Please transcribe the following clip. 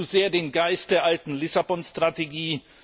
Er atmet zu sehr den Geist der alten Lissabon Strategie.